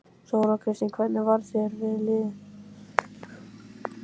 Þóra Kristín: Hvernig varð þér við?